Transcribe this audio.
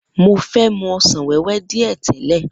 Mo fe mu ọsàn wéwé dìé tèle.